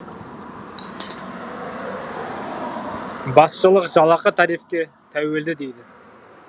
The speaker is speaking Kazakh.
басшылық жалақы тарифке тәуелді дейді